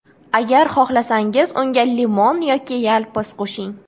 Agar xohlasangiz, unga limon yoki yalpiz qo‘shing.